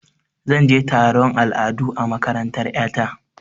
Zan ce taron al'adu a makarantar ƴa ta.